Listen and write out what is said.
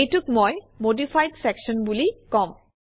এইটোক মই modified section বুলি কম